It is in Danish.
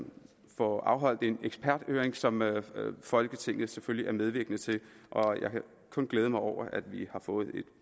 får afholdt en eksperthøring som folketinget selvfølgelig er medvirkende til og jeg kan kun glæde mig over at vi har fået et